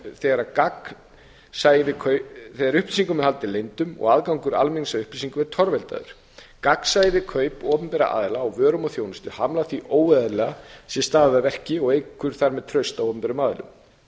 þegar upplýsingum er haldið leyndum eða aðgangur almennings að upplýsingum er torveldaður gagnsæi við kaup opinberra aðila á vörum og þjónustu hamlar því að óeðlilega sé staðið að verki og eykur þar með traust á opinberum aðilum